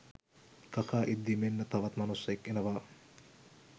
කකා ඉද්දි මෙන්න තවත් මනුස්සයෙක් එනවා.